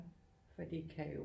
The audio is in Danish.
For de kan jo